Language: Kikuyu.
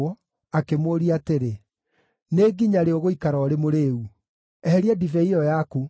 akĩmũũria atĩrĩ, “Nĩ nginya rĩ ũgũikara ũrĩ mũrĩĩu? Eheria ndibei ĩyo yaku.”